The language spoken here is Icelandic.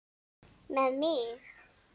Með mig?